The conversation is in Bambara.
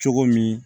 Cogo min